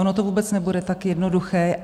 Ono to vůbec nebude tak jednoduché.